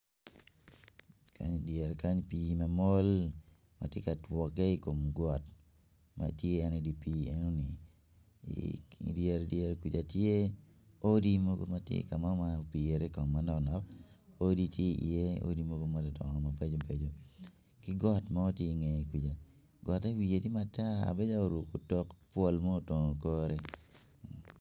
Kany idyere kany pii ma mol ma tye ka twagge i kom got ma tye en i di pii enoni i dyere dyere kuja tye odi mogo ma tye ka mo ma opiri kong manok nok odi ti i iye odi madongo dongo mabeco beco ki got mo ti inge kuja gotte wiye tye matar bedo calo oruko otok bwol mo otongo kore